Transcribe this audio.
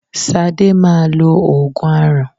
Sadé máa lo oògùn aràn